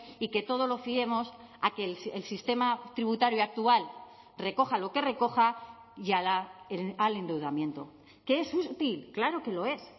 y que todo lo fiemos a que el sistema tributario actual recoja lo que recoja y al endeudamiento que es útil claro que lo es